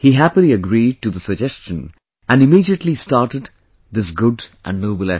He happily agreed to the suggestion and immediately started this good and noble effort